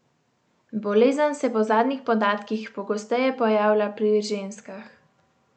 Bolezen se po zadnjih podatkih pogosteje pojavlja pri ženskah.